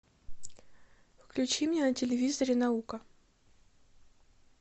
включи мне на телевизоре наука